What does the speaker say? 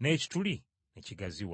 n’ekituli ne kigaziwa.